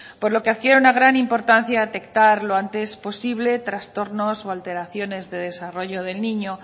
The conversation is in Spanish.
por lo que adquiere una gran importancia detectar lo antes posible trastornos o alteraciones de desarrollo del niño